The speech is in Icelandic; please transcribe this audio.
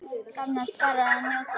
Annars bara að njóta.